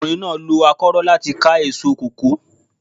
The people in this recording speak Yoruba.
Ọkùnrin náà lo akórọ́ láti ká èso kòkó.